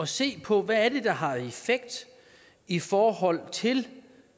se på hvad det er der har effekt i forhold til